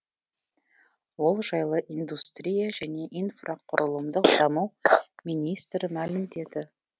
ол жайлы индустрия және инфрақұрылымдық даму министрі мәлімдеді